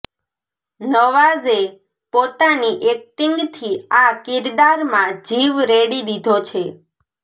નવાઝે પોતાની એક્ટિંગથી આ કિરદારમાં જીવ રેડી દીધો છે